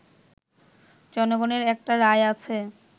জনগণের একটা রায় আছে